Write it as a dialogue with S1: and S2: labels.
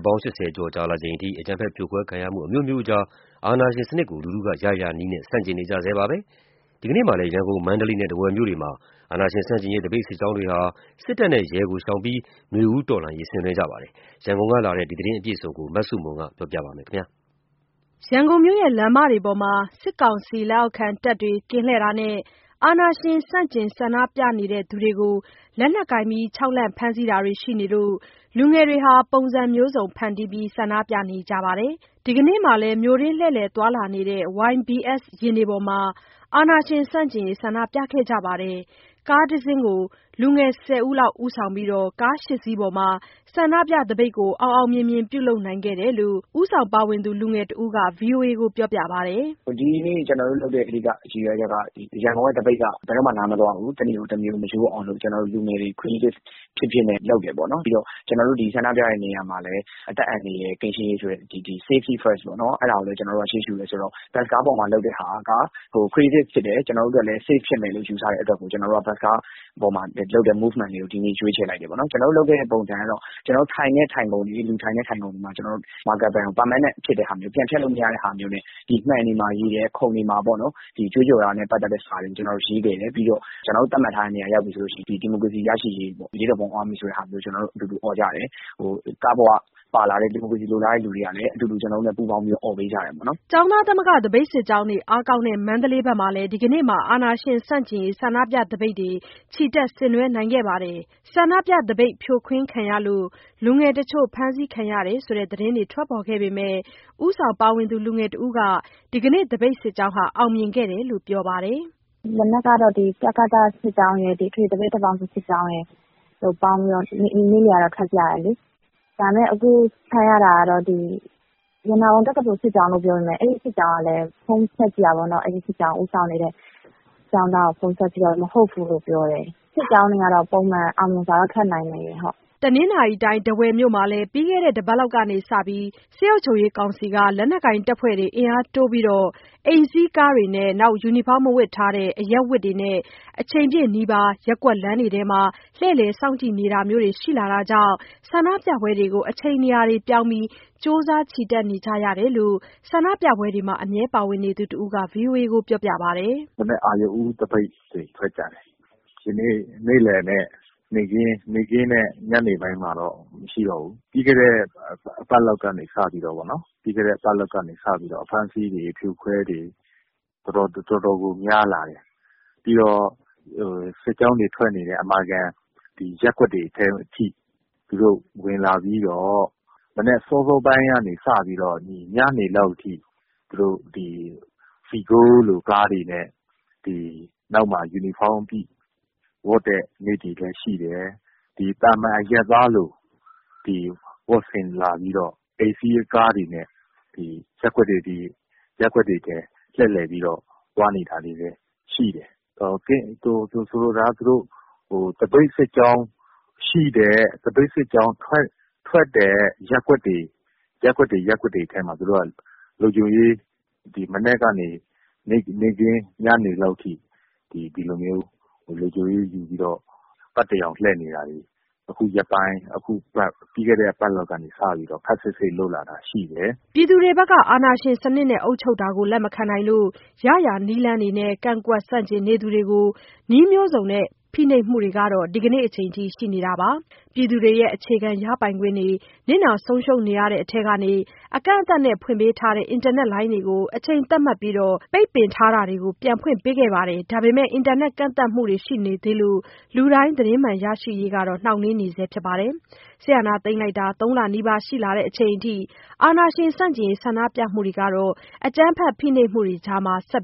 S1: ပေါင်း ၈၀ ကျော် ကြာလာချိန်အထိ အကြမ်းဖက်ဖိနှိပ်ခံရမှုတွေ အမျိုးမျိုးကြား ပြည်သူတွေဟာ အာဏာရှင်စနစ်ကို ရရာနည်းနဲ့ ဆန့်ကျင်နေကြတုန်းပါ။ ဒီကနေ့မှာလည်း ရန်ကုန်၊ မန္တလေးနဲ့ ထားဝယ်မြို့တွေမှာ အာဏာရှင်ဆန့်ကျင်ရေး သပိတ်စစ်ကြောင်းတွေဟာ လက်နက်ကိုင်တွေကို ရှောင်ကြဉ်ပြီး နွေဦးတော်လှန်ရေးကို ဆင်နွှဲခဲ့ကြပါတယ်။ ရန်ကုန်ကလာတဲ့ သတင်းအပြည့်အစုံကို မဆုမွန်က တင်ဆက်ပေးမှာပါ
S2: ။ ရန်ကုန်မြို့ လမ်းမတွေပေါ်မှာ စစ်ကောင်စီလက်အောက်ခံ တပ်တွေ ကင်းလှည့်တာနဲ့ အာဏာရှင်ဆန့်ကျင် ဆန္ဒပြသူတွေကို လက်နက်ကိုင်ခြောက်လှန့် ဖမ်းဆီးတာတွေ ရှိနေလို့ လူငယ်တွေဟာ ပုံစံမျိုးစုံ ဖန်တီးပြီး ဆန္ဒပြနေကြပါတယ်။ ဒီကနေ့မှာလည်း မြို့တွင်းလှည့်လည်သွားလာနေတဲ့ YBS ယာဉ်တွေပေါ်မှာ အာဏာရှင်ဆန့်ကျင်ရေး ဆန္ဒပြခဲ့ကြပါတယ်။ ကားတစီးကို လူငယ် ၁၀ ယောက်ဦးဆောင်ပြီး ကား ၈ စီးပေါ်မှာ ဆန္ဒပြသပိတ်ကို အောင်အောင်မြင်မြင် ပြုလုပ်နိုင်ခဲ့တယ်လို့ ဦးဆောင်ပါဝင်သူ လူငယ်တဦးက ဗွီအိုအေကိုပြောပါတယ်။
S3: “ဒီနေ့ ကျနော်တို့လုပ်တဲ့ ရည်ရွယ်ချက်က ရန်ကုန်က သပိတ်က ဘယ်တော့မှ နားမသွားဘူး။ တနေ့တမျိုး မရိုးအောင်လို့ ကျနော်တို့လူငယ်တွေ Creative ဖြစ်ဖြစ်နဲ့ လုပ်တယ်ပေါ့နော်။ ပြီးတော့ ကျနော်တို့ ဒီဆန္ဒပြတဲ့နေရာမှာလည်း အသက်အန္တရာယ်ကင်းရှင်းရေး ဆိုတဲ့ Safety First ပေါ့နော်... အဲဒါကိုလည်း ကျနော်တို့က ရှေးရှုတယ်ဆိုတော့ ဘတ်စ်ကားပေါ်မှာလုပ်တဲ့ဟာက Creative ဖြစ်တယ်။ ကျနော်တို့အတွက်လည်း Safe ဖြစ်တယ်လို့ ယူဆတဲ့အတွက် ဘတ်စ်ကားပေါ်မှာလုပ်တဲ့ Movement လေးကို ဒီနေ့ ရွေးချယ်လိုက်တယ်ပေါ့နော်။ ကျနော်တို့လုပ်တဲ့ပုံစံကတော့ ထိုင်ခုံတွေမှာ Marker Pen ကို ပြန်ဖျက်လို့မရတဲ့ဟာမျိုးနဲ့ မှန်တွေ၊ ခုံတွေမှာ ကြွေးကြော်တာနဲ့ ပတ်သက်တဲ့စာတွေကို ရေးခဲ့တယ်။ ကျနော်တို့ သတ်မှတ်ထားတဲ့နေရာ ရောက်ပြီဆိုရင် ဒီမိုကရေစီရရှိရေး၊ အရေးတော်ပုံအောင်ရမည် ဆိုတာမျိုး အော်ကြတယ်။ ကားပေါ်မှာပါလာတဲ့ ဒီမိုကရေစီ လိုလားတဲ့သူတွေကလည်း အတူတူအော်ပေးကြတယ်။” ကျ
S2: ောင်းသားသမဂ္ဂ သပိတ်စစ်ကြောင်းတွေ အားကောင်းတဲ့ မန္တလေးမှာလည်း ဒီကနေ့မှာ အာဏာရှင်ဆန့်ကျင်ရေး ဆန္ဒပြသပိတ် ချီတက်ဆင်နွှဲနိုင်ခဲ့ပါတယ်။ ဆန္ဒပြသပိတ် ဖြိုခွင်းခံရလို့ လူငယ်တချို့ ဖမ်းဆီးခံရတယ်ဆိုတဲ့ သတင်းတွေထွက်ပေါ်ခဲ့ပေမဲ့ ဦးဆောင်ပါဝင်သူ လူငယ်တဦးက ဒီနေ့သပိတ်စစ်ကြောင်းလည်း အောင်မြင်ခဲ့တယ်လို့ ပြောပါတယ်။
S3: “ဒီနေ့ကတော့ တကသစစ်ကြောင်းရယ်၊ အထွေထွေသပိတ် တပ်ပေါင်းစုစစ်ကြောင်းရယ် ပေါင်းပြီးတော့ နေ့လယ်က ထွက်ကြတယ်။ ဒါပေမဲ့ အခုအဖမ်းခံရတာက ရတနာပုံစစ်ကြောင်းလို့ ပြောပေမဲ့ အဲဒီစစ်ကြောင်းကို ဦးဆောင်နေတဲ့ကျောင်းသားကို ဖုန်းဆက်ကြည့်တာတော့ မဟုတ်ဘူးလို့ပြောတယ်။ စစ်ကြောင်းတွေကတော့ ပုံမှန် အောင်မြင်စွာတော့ ထွက်နိုင်နေတယ်။”
S2: တနင်္သာရီတိုင်း၊ ထားဝယ်မြို့မှာ ပြီးခဲ့တဲ့ တစ်ပတ်လောက်ကစပြီး စစ်ကောင်စီက လက်နက်ကိုင်တပ်ဖွဲ့တွေ အင်အားတိုးပြီး အိမ်စီးကားတွေနဲ့ ယူနီဖောင်းမဝတ်ဘဲ အရပ်ဝတ်နဲ့ အချိန်ပြည့် နီးပါး ရပ်ကွက်လမ်းတွေအတွင်းမှာ လှည့်လည် စောင့်ကြည့်နေတာမျိုးတွေ ရှိလာတာကြောင့် ဆန္ဒပြပွဲတွေကို အချိန်နေရာတွေ ပြောင်းပြီး ကြိုးစား ချီတက်နေကြရတယ်လို့ ဆန္ဒပြပွဲတွေမှာ အမြဲ ပါဝင်နေသူ တစ်ဦးက ဗွီအိုအေကို ပြောပါတယ်။
S1: “မနက် အရုဏ်ဦး သပိတ်တွေ ထွက်ကြတယ်။ ဒီနေ့ နေ့လယ်နဲ့ ညနေပိုင်းမှာတော့ မရှိတော့ဘူး။ ပြီးခဲ့တဲ့ တစ်ပတ်လောက်ကနေ စပြီးတော့ အဖမ်းအဆီးတွေ အဖြိုအခွဲတွေ တော်တော်ကို များလာတယ်။ ပြီးတော့ စစ်ကြောင်းတွေ ထွက်နေတဲ့ အမာခံ ရပ်ကွက်တွေထဲထိ သူတို့ ဝင်လာပြီးတော့ မနက် စောစောပိုင်းကနေ ညနေလောက်ထိ အိမ်စီးကားတွေနဲ့ နောက်မှာပါတဲ့သူတွေက ယူနီဖောင်းဝတ်တဲ့ နေ့တွေလည်းရှိတယ်။ သာမာန်အရပ်သားလို ဝတ်ဆင်လာပြီးတော့ အိမ်စီးကားတွေနဲ့ ရပ်ကွက်တွေထဲ လှည့်လည်သွားနေတာမျိုးတွေလည်း ရှိတယ်။ သပိတ်စစ်ကြောင်းထွက်တဲ့ ရပ်ကွက်တွေထဲမှာ သူတို့က လုံခြုံရေးတွေ မနက်ကနေ ညနေလောက်ထိ လုံခြုံရေး ယူပြီး ပတ်ရောင်လှည့်နေတာတွေ ခုရက်ပိုင်း၊ ပြီးခဲ့တဲ့ တစ်ပတ်လောက်ကနေ စပြီးတော့ ခပ်စိတ်စိတ် လုပ်လာတာရှိတယ်။
S2: ” အာဏာရှင်စနစ်နဲ့ အုပ်ချုပ်တာကို လက်မခံနိုင်လို့ ရရာနည်းနဲ့ ကန့်ကွက်ဆန့်ကျင်နေသူတွေကို နည်းမျိုးစုံသုံးဖိနှိပ်မှုတွေကတော့ ဒီကနေ့အချိန်အထိ ရှိနေတာပါ။ ပြည်သူတွေရဲ့ အခြေခံရပိုင်ခွင့်တွေ နစ်နာဆုံးရှုံးနေတဲ့အထဲက အကန့်အသတ်နဲ့ ဖွင့်ပေးထားတဲ့ အင်တာနက်လိုင်းတွေကို အချိန်သတ်မှတ်ပြီး ပိတ်ပင်ထားတာတွေကို ပြန်ဖွင့်ပေးခဲ့ပေမဲ့ အင်တာနက်ကန့်သတ်မှုတွေ ရှိနေသေးလို့ လူတိုင်းသတင်းမှန်ရရှိရေး နှောင့်နှေးနေပါတယ်။ စစ်အာဏာသိမ်းတာ ၃ လနီးပါး ရှိလာချိန်အထိ အာဏာရှင်ဆန့်ကျင်ရေး ဆန္ဒပြမှုတွေဟာ အကြမ်းဖက်ဖိနှိပ်မှုတွေကြား ဆက်